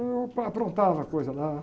Eu pa, aprontava coisa lá.